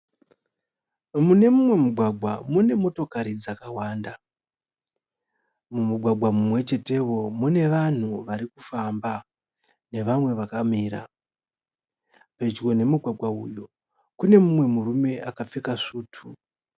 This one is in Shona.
Mune mumwe mumugwagwa mune motokari dzakawanda . Mumugwagwa mumwechetewo mune vanhu vakufamba nevamwe vakamira . Pedyo nemugwagwa uyu kune mumwe murume akapfeka svutu.